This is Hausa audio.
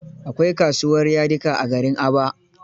Akwai kasuwar yadika a garin Aba.